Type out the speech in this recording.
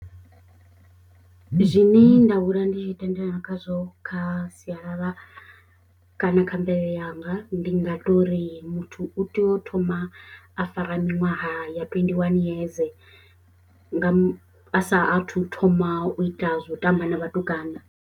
Zwine nda hula ndi tshi tendelana khazwo kha sialala kana kha mvelele yanga ndi nga tori muthu u tea u thoma a fara minwaha ya tweenty one yeze nga a sa athu thoma u ita zwa u tamba na vhatukana.